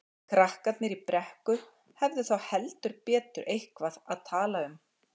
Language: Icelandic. Krakkarnir í Brekku hefðu þá heldur betur eitthvað að tala um.